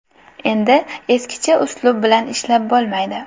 Endi eskicha uslub bilan ishlab bo‘lmaydi.